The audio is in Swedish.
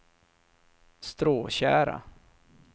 Stråtjära